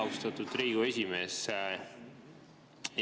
Austatud Riigikogu esimees!